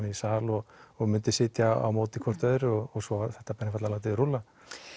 í sal og og myndu sitja á móti hvort öðru og svo er þetta einfaldlega látið rúlla